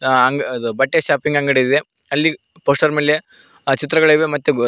ಅ ಅಂಗ್ ಅದು ಬಟ್ಟೆ ಶೂಪಿಂಗ್ ಅಂಗಡಿ ಇದೆ ಅಲ್ಲಿ ಪೋಸ್ಟರ್ ಮೇಲೆ ಅ ಚಿತ್ರಗಳಿವೆ ಮತ್ತೆ ಸ --